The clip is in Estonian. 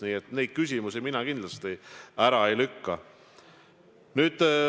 Nii et neid küsimusi mina kindlasti ära ei lükka.